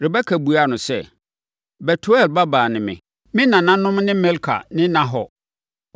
Rebeka buaa no sɛ, “Betuel babaa ne me. Me nananom ne Milka ne Nahor.”